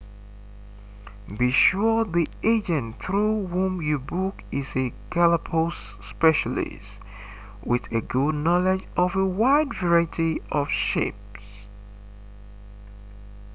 be sure the agent through whom you book is a galapagos specialist with a good knowledge of a wide variety of ships